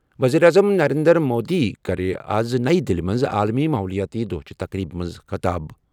ؤزیٖرِ اعظم نَرینٛدر مودی کَرِ آز نَیہِ دِلہِ منٛز عالمی ماحولیٲتی دۄہ چہِ تقریبہِ منٛز خطاب ۔